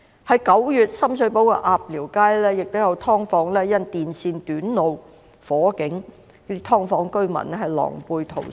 在9月，深水埗鴨寮街亦有"劏房"因電線短路而發生火警，"劏房"居民狼狽逃生。